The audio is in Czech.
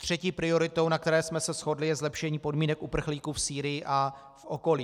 Třetí prioritou, na které jsme se shodli, je zlepšení podmínek uprchlíků v Sýrii a v okolí.